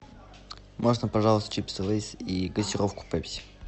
можно пожалуйста чипсы лейс и газировку пепси